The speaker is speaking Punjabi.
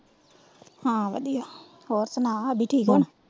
ਹਾਂ ਵਧੀਆ। ਹੋਰ ਸੁਣਾ ਆਦਿ ਠੀਕ ਹੁਣ?